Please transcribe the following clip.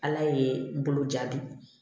Ala ye boloja di